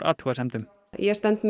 athugasemdum ég stend